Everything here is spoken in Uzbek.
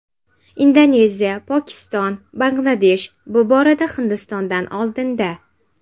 Indoneziya, Pokiston, Bangladesh bu borada Hindistondan oldinda.